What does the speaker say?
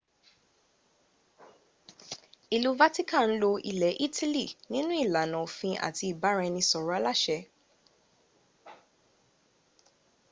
ìlú vatican lo ilẹ̀ italy nínú ìlànà òfin àti ìbáraẹnisọ̀rọ̀ aláṣẹ